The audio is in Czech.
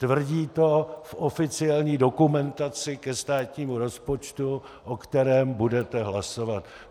Tvrdí to v oficiální dokumentaci ke státnímu rozpočtu, o kterém budete hlasovat.